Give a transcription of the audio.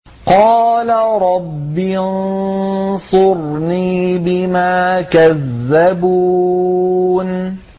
قَالَ رَبِّ انصُرْنِي بِمَا كَذَّبُونِ